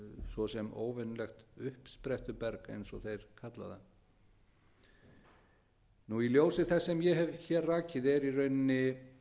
svo sem óvenjulegt uppsprettuberg eins og þeir kalla það í ljósi þess sem ég hef hér rakið er í rauninni